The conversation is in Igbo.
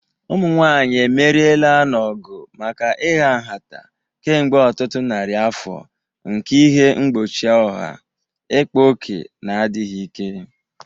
Ụmụ nwanyị emeriela n'ọgụ maka ịha nhata kemgbe ọtụtụ narị afọ nke ihe mgbochi ọha, ịkpa ókè, na adịghị ike.